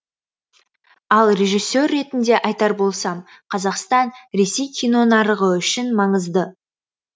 ал режиссер ретінде айтар болсам қазақстан ресей кинонарығы үшін маңызды